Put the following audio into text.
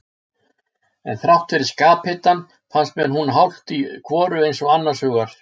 En þrátt fyrir skaphitann fannst mér hún hálft í hvoru eins og annars hugar.